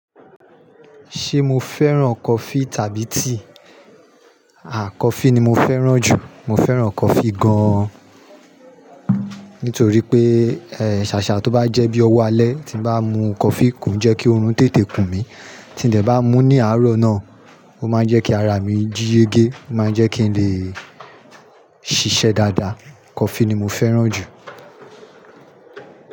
Ṣé mo fẹ́ràn coffee tàbí tea? Àà coffee ni mo fẹ́ràn jù. Mo fẹ́ràn coffee gan-an. Nítorí pé, ẹ́, ṣàṣà tó bá jẹ́ bí ọwọ́ alẹ́ tí bá mú coffee kon jẹ́ kí oorun tètè kùn mí. Tí n de bá mú ní àárọ̀ náà, ó máa ń jẹ́ kí ara mi jíyege, ó máa ń jẹ́ kí n lè ṣiṣẹ́ dáadáa. Coffee ni mo fẹ́ràn jù.